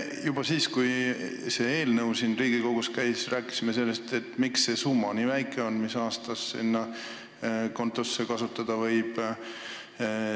Juba siis, kui see eelnõu siin Riigikogus käis, me rääkisime sellest, et miks on nii väike see summa, mida selle konto puhul aastas kasutada võib.